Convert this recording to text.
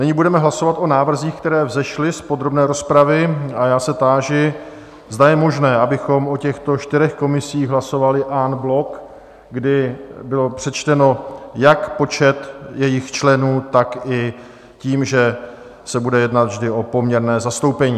Nyní budeme hlasovat o návrzích, které vzešly z podrobné rozpravy, a já se táži, zda je možné, abychom o těchto čtyřech komisích hlasovali en bloc, kdy bylo přečteno... jak počet jejich členů, tak i tím, že se bude jednat vždy o poměrné zastoupení?